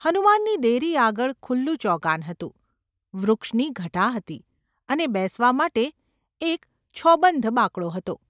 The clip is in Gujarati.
​ હનુમાનની દેરી આગળ ખુલ્લું ચોગાન હતું, વૃક્ષની ઘટા હતી, અને બેસવા માટે એક છોબંધ બાંકડો હતો.